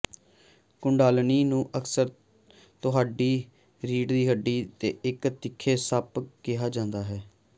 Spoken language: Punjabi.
ਕੁੰਡਾਲੀਨੀ ਨੂੰ ਅਕਸਰ ਤੁਹਾਡੀ ਰੀੜ੍ਹ ਦੀ ਹੱਡੀ ਤੇ ਇਕ ਤਿੱਖੀ ਸੱਪ ਕਿਹਾ ਜਾਂਦਾ ਹੈ